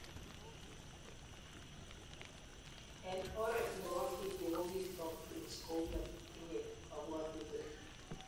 Eng oret nebo video ko kitook Prince kouya tinye kabwatutik